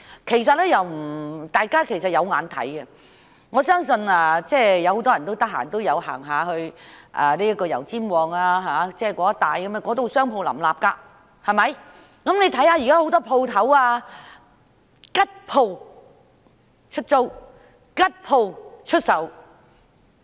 其實大家是有目共睹的，我相信很多人都會到油尖旺區一帶逛街，那裏商鋪林立，但大家現在看到有很多"吉鋪"出租、"吉鋪"出售。